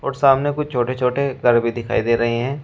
और सामने कुछ छोटे छोटे घर भी दिखाई दे रहे हैं।